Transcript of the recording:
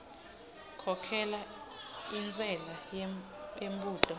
khokhela intshela yembudo